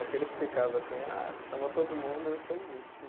Aquele que ficava assim, ah, chama todo mundo, eu sou o último.